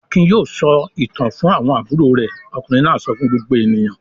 "Akin yóò sọ ìtàn fún àwọn àbúrò rẹ̀!" Ọkùnrin náà sọ fún gbogbo ènìyàn.